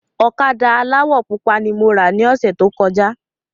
Ọ̀kadà aláwọ̀ pupa ni mo rà ni ọ̀sẹ̀ tó kọjá